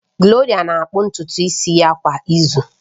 Gloria na-akpụ ntutu isi ya kwa izu